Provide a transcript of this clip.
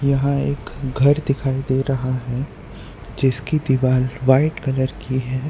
यहां एक घर दिखाई दे रहा है जिसकी व्हाइट कलर की है।